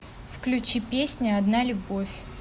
включи песня одна любовь